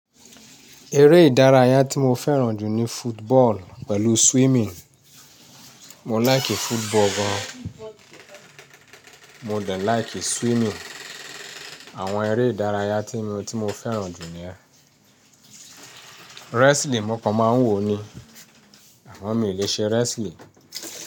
Eré ìdárayá tí mo fẹ́ràn jù ni football pẹ̀lú swimming. Mo láìkì football gan, mo de láìkì swimming. Àwọn eré ìdárayá tí mi tí mo fẹ́ràn jù ni yẹ́n. Wrestling mọ̀ọ́kan máa ń wò ó ni, àmọ mí lè ṣe wrestling.